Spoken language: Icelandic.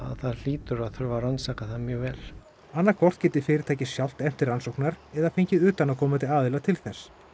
það hlýtur að þurfa að rannsaka það vel annaðhvort geti fyrirtækið sjálft efnt til rannsóknar eða fengið utanaðkomandi aðila til þess